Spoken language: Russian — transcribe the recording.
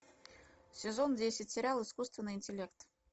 сезон десять сериал искусственный интеллект